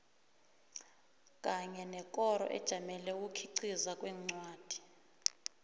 kanye nekoro ejamele ukukhiqiza kwencwadi